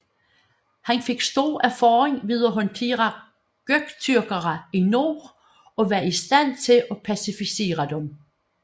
Han fik stor erfaring ved at håndtere Göktürkere i nord og var i stand til at pacificere dem